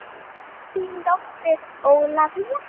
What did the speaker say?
Þín dóttir Ólafía.